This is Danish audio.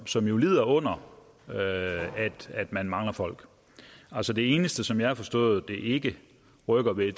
som jo lider under at man mangler folk altså det eneste som jeg har forstået det ikke rykker ved